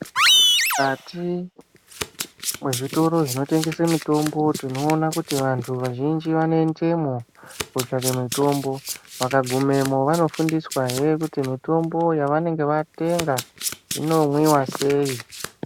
Mukati mwezvitoro zvinotengese mitombo tinoona kuti vanthu vazhinji vanoendemwo kotsvaka mitombo vakagumemwo vanofundiswahe kuti mitombo yavanenge vatenga inomwiwa sei.